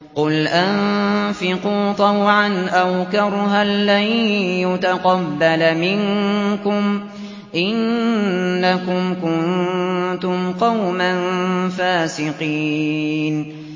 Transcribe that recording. قُلْ أَنفِقُوا طَوْعًا أَوْ كَرْهًا لَّن يُتَقَبَّلَ مِنكُمْ ۖ إِنَّكُمْ كُنتُمْ قَوْمًا فَاسِقِينَ